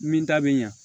Min ta bɛ ɲa